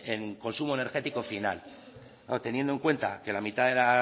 en consumo energético final teniendo en cuenta que la mitad de la